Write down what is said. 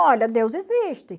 Olha, Deus existe.